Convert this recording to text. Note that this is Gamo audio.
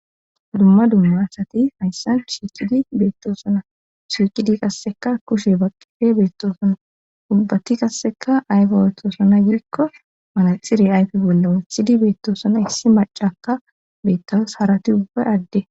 dumma dumma sati hayssan shiiqidi beettoosona suuqidi kasseka kushe baqqife beettoosona ubbatti kasseka ayfe attoosona gidikko manaxire ayfi bolla wathidi beettoosona issi macaka beettawus harati ubbay adde